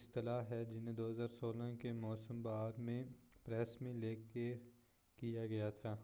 اصطلاح ہے جنہیں 2016 کے موسم بہار میں پریس میں لیک کیا گیا تھا